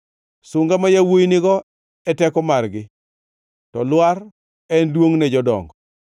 Sunga ma yawuowi nigo e teko margi, to lwar en duongʼ ne jodongo.